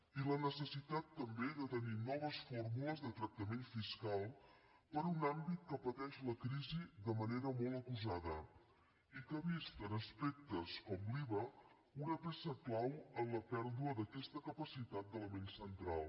i la necessitat també de tenir noves fórmules de tractament fiscal per a un àmbit que pateix la crisi de manera molt acusada i que ha vist en aspectes com l’iva una peça clau en la pèrdua d’aquesta capacitat d’element central